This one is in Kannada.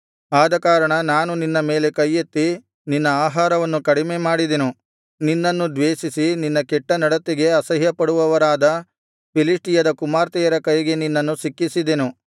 ಆದಕಾರಣ ನಾನು ನಿನ್ನ ಮೇಲೆ ಕೈಯೆತ್ತಿ ನಿನ್ನ ಆಹಾರವನ್ನು ಕಡಿಮೆಮಾಡಿದೆನು ನಿನ್ನನ್ನು ದ್ವೇಷಿಸಿ ನಿನ್ನ ಕೆಟ್ಟ ನಡತೆಗೆ ಅಸಹ್ಯಪಡುವವರಾದ ಫಿಲಿಷ್ಟಿಯದ ಕುಮಾರ್ತೆಯರ ಕೈಗೆ ನಿನ್ನನ್ನು ಸಿಕ್ಕಿಸಿದೆನು